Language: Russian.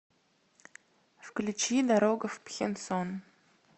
включи дорога в пхенсон